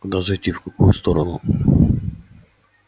куда же идти в какую сторону